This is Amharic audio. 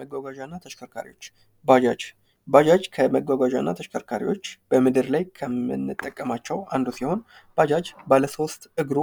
መጓጓዣ እና ተሽከርካሪዎች። ባጃጅ ባጃጅ ከመጓጓዣና ተሽከርካሪዎች በምድር ላይ ከምንጠቀማቸው አንዱ ሲሆን ባጃጅ ባለሶስት እግሩ